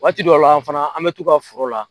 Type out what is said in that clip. Waati dɔw la fana an mɛ t'u ka foro la.